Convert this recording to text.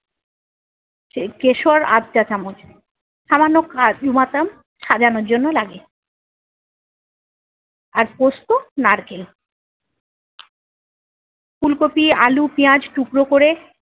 কে~ কেশর আধ চা চামচ, সামান্য কাজুবাদাম সাজানোর জন্য লাগে। আর পোস্তু নারকেল। ফুলকপি আলু পিঁয়াজ টুকরো করে